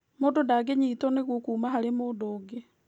Mũndũ ndangĩnyitwo nĩguo kuma harĩ mũndũ ũngĩ